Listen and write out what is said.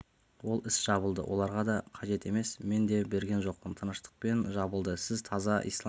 ол іс жабылды оларға да қажет емес мен де берген жоқпын тыныштықпен жабылды сіз таза ислам